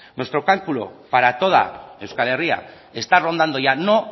nuestro cálculo para toda euskal herria está rondando ya no